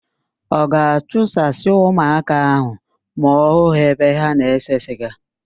Ọ ga-achụsasị ụmụaka ahụ ma ọ hụ ha ebe ha na-ese siga?